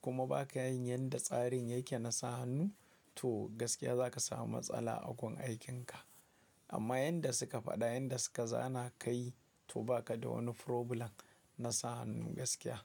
kuma ba ka yin yanda tsarin yake na sa hannu to gaskiya za ka samu matsala a gun aikinka. Amma yanda suka faɗa yanda suka zana ka yi to ba ka da wani problem na sa hannu gaskiya.